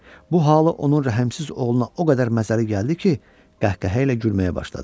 Bu halı onun rəhmsiz oğluna o qədər məzəli gəldi ki, qəhqəhə ilə gülməyə başladı.